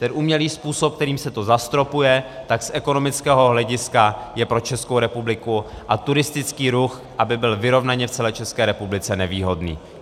Ten umělý způsob, kterým se to zastropuje, tak z ekonomického hlediska je pro Českou republiku a turistický ruch, aby byl vyrovnaně v celé České republice, nevýhodný.